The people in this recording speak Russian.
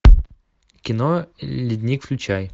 кино ледник включай